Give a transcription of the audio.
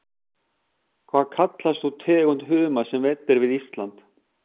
Hvað kallast sú tegund humars sem veidd er við Ísland?